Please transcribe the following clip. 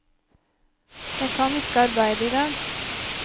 Jeg kan ikke arbeide i dag.